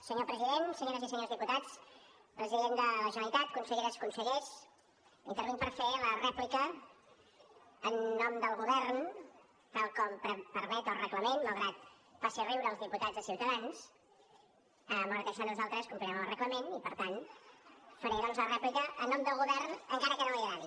senyor president senyores i senyors diputats president de la generalitat conselleres consellers intervinc per fer la rèplica en nom del govern tal com permet el reglament malgrat que faci riure els diputats de ciutadans malgrat això nosaltres complirem amb el reglament i per tant faré doncs la rèplica en nom del govern encara que no li agradi